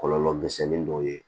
Kɔlɔlɔ misɛnnin dɔw ye